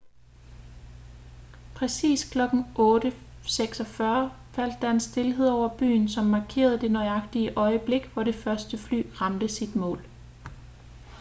præcis klokken 8:46 faldt der en stilhed over byen som markerede det nøjagtige øjeblik hvor det første fly ramte sit mål